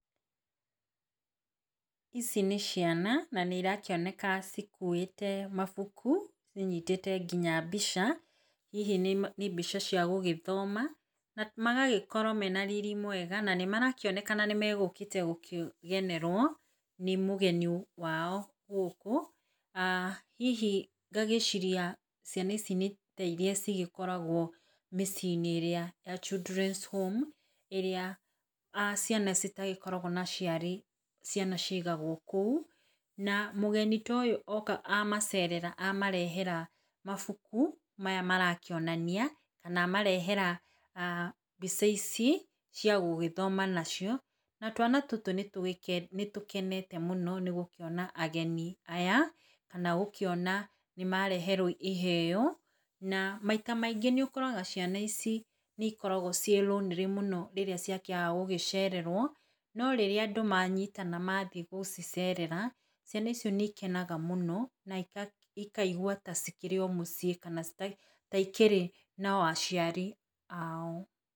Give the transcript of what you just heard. Ici nĩ ciana na nĩ irakĩoneka ikuĩte mabuku, inyitĩte nginya mbica, hihi nĩ mbica cia gũgĩthoma, na magagĩkorwo mena riri mwega, na nĩ marakĩonekana nĩmegũkĩte gũkĩgenerwo, nĩ mũgeni wao gũkũ, aah hihi ngagĩciria ciana ici nĩ tairia cigĩkoragwo mĩciĩ-inĩ ĩrĩa ya childrens home ĩrĩa aah ciana itagĩkoragwo na aciari, ciana cigagwo kũu, na mgeni ta ũyũ oka amacerera, amarehera mabuku, maya marakĩonania, na marehera aah mbica ici, cia gũgĩthoma nacio, na twana tũtũ nĩ tũgĩ nĩ tũkenete mũno nĩ gũkĩona ageni aya, kana gũkĩona nĩ mareherwo iheyo, na maita maingĩ nĩ ũkoraga ciana ici nĩ ikoragwo ciĩ lonely mũno, rĩrĩa ciakĩaga gũgĩcererwo, no rĩra andũ manyitana mathiĩ gũcicerera, ciana icio nĩ ikenaga mũno, na ika ikaigwa ta igĩkĩrĩ o mũciĩ, kana ta ikĩri no aciari ao.